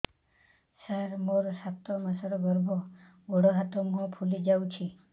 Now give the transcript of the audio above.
ସାର ମୋର ସାତ ମାସର ଗର୍ଭ ଗୋଡ଼ ହାତ ମୁହଁ ଫୁଲି ଯାଉଛି